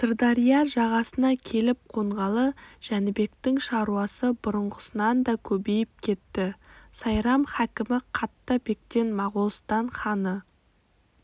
сырдария жағасына келіп қонғалы жәнібектің шаруасы бұрынғысынан да көбейіп кетті сайрам хакімі қатта бектен моғолстан ханы